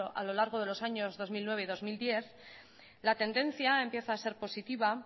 a lo largo de los años dos mil nueve y dos mil diez la tendencia empieza a ser positiva